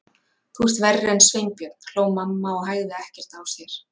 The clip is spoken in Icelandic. Þú ert verri en Sveinbjörn hló mamma og hægði ekkert á sér.